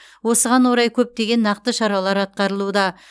осыған орай көптеген нақты шаралар атқарылуда